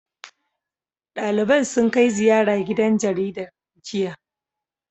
Ɗaliban sun kai ziyara gidan jaridar, jiya.